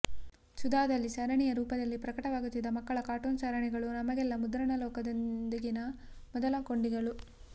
ಸುಧಾದಲ್ಲಿ ಸರಣಿಯ ರೂಪದಲ್ಲಿ ಪ್ರಕಟವಾಗುತ್ತಿದ್ದ ಮಕ್ಕಳ ಕಾರ್ಟೂನ್ ಸರಣಿಗಳು ನಮಗೆಲ್ಲ ಮುದ್ರಣ ಲೋಕದೊಂದಿಗಿನ ಮೊದಲ ಕೊಂಡಿಗಳು